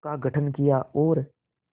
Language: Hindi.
का गठन किया और